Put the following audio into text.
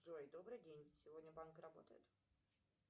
джой добрый день сегодня банк работает